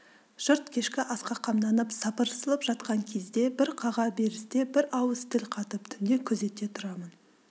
жұрт кешкі асқа қамданып сапырылысып жатқан кезде бір қаға берісте бір ауыз тіл қатып түнде күзетте тұрамын